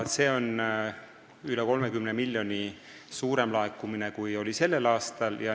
See on üle 30 miljoni rohkem, kui laekus sellel aastal.